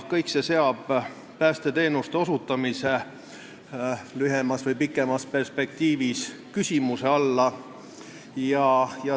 Kõik see seab päästeteenuste osutamise lühemas või pikemas perspektiivis küsimuse alla.